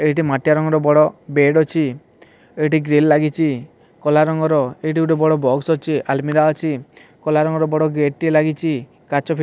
ଏଇଟି ମାଟିଆ ରଙ୍ଗ୍ ର ବଡ଼ ବେଡ୍ ଅଛି ଏଇଠି ଗ୍ରିଲ୍ ଲାଗିଚି କଲା ରଙ୍ଗର ଏଇଠି ଗୋଟେ ବଡ଼ ବକ୍ସ ଅଛି ଆଲ୍ମିରା ଅଛି କଲା ରଙ୍ଗର ବଡ ଗେଟ୍ ଟିଏ ଲାଗିଛି କାଚ ଫିଟି --